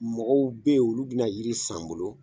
Mɔgɔw be yen olu bina yiri san n bolo